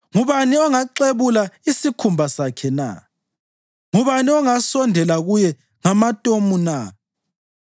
Ngubani ongaxebula isikhumba sakhe na? Ngubani ongasondela kuye ngamatomu na?